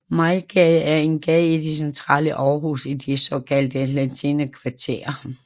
Mejlgade er en gade i det centrale Aarhus i det såkaldte latinerkvarter